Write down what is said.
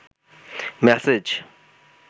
message